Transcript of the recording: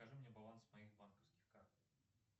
покажи мне баланс моих банковских карт